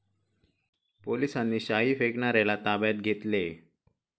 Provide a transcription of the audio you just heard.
पोलिसांनी शाई फेकणाऱ्याला ताब्यात घेतलेय.